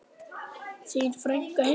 Þín frænka, Hildur.